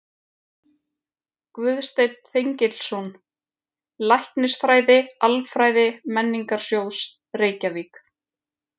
Guðsteinn Þengilsson, Læknisfræði-Alfræði Menningarsjóðs, Reykjavík